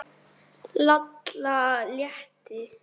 Lalla létti.